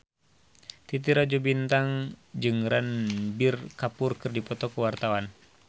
Titi Rajo Bintang jeung Ranbir Kapoor keur dipoto ku wartawan